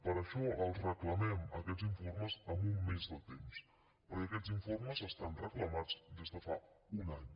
per això els reclamem aquests informes amb un mes de temps perquè aquests informes estan reclamats des de fa un any